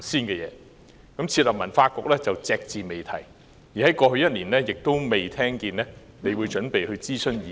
關於設立文化局，你隻字不提，而在過去一年，我亦沒有聽聞你準備諮詢意見。